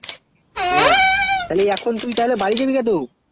হেঁ এখন তুই তালে বারী যাবে টু